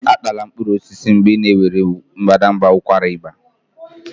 Atala mkpụrụ osisi mgbe ị na-ewere mbadamba ụkwara ịba